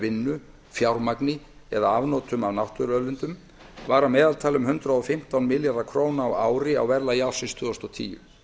vinnu fjármagni eða afnotum af náttúruauðlindum var að meðaltali um hundrað og fimmtán milljarðar króna á ári á verðlagi ársins tvö þúsund og tíu